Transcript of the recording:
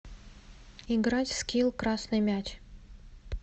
играть в скилл красный мяч